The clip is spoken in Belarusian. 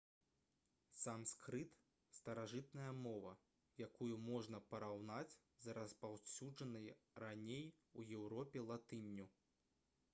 санскрыт старажытная мова якую можна параўнаць з распаўсюджанай раней у еўропе латынню